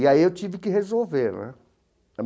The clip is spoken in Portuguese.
E aí eu tive que resolver né.